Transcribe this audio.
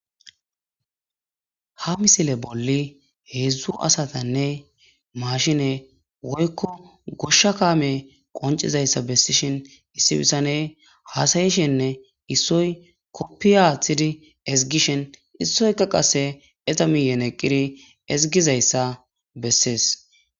ha misile bolli heedzdzu asatanne mashine woykko goshsha kame qoncizayssa bessishin issi bittane haasayishenne issoy koppiya athidi ezigishen issoyka qase eta miyen eqqiri ezigizayssa bessees